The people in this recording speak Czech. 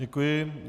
Děkuji.